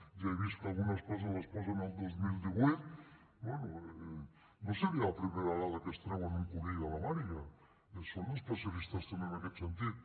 ja he vist que algunes coses les posen al dos mil divuit bé no seria la primera vegada que es treuen un conill de la màniga en són especialistes també en aquest sentit